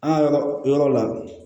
An ka yɔrɔ yɔrɔ la